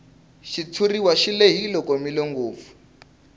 xitshuriwa xi lehile komile ngopfu